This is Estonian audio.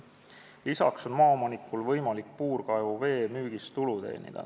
Lisaks on maaomanikul võimalik puurkaevu vee müügist tulu teenida.